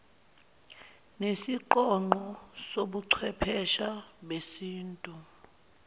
nesiqonqo sobuchwephesha besintu